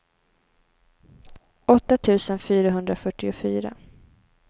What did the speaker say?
åtta tusen fyrahundrafyrtiofyra